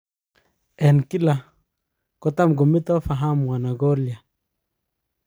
En kila, kotam kometaa fahamu ara koriryaan.